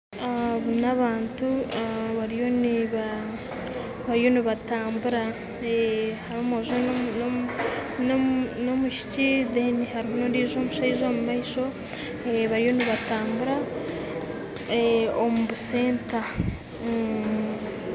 Aba n'abantu bariyo nibatambura, hariho omwojo n'omwishiki kandi hariyo omushaija ondiijo omumaisho bariyo nibatambura omu katauni